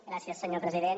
gràcies senyor president